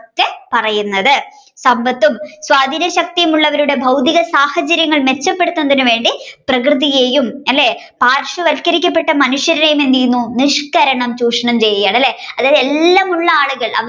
പിന്നെ എന്താണ് സമ്പത്തും സ്വാധിനശക്തിയുള്ളവരുടെ ഭൗതിക സാഹചര്യങൾ മെച്ചപ്പെടുത്തുന്നതിന് വേണ്ടി പ്രകൃതിയെയും അല്ലെ പാർശ്യവരിക്കപ്പെട്ട മനുഷ്യരെയും എന്ത് ചെയുന്നു നിഷ്‌കരണം ചൂഷണം ചെയുകയാണല്ലെ അതായത് എല്ലാ